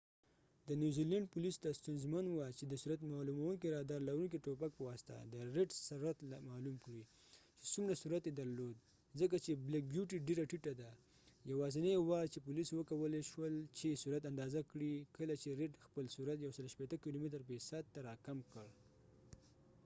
د نوزیلینډ پولیسو ته ستونزمن وه چې د سرعت معلومونکې رادار لرونکې ټوپک په واسطه د ریډ سرعت معلوم کړي چې څومره سرعت یې درلود ځکه چې بلیک بیوټی ډیره ټیټه ده یواځنی وار چې پولیسو وکولای شول چې سرعت اندازه کړي کله چې رید خپل سرعت 160 کیلومتره فی ساعت ته راکم کړ